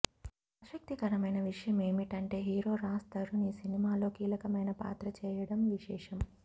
ఆసక్తికరమైన విషయమేమంటే హీరో రాజ్తరుణ్ ఈ సినిమాలో కీలకమైన పాత్ర చేయడం విశేషం